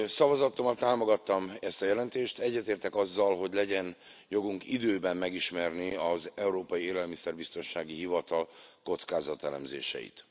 Szavazatommal támogattam ezt a jelentést, egyetértek azzal, hogy legyen jogunk időben megismerni az Európai Élelmiszerbiztonsági Hivatal kockázatelemzéseit.